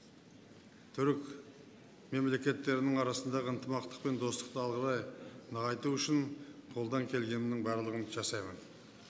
түрік мемлекеттерінің арасындағы ынтымақтық пен достықты алға қарай нығайту үшін қолдан келгеннің барлығын жасаймын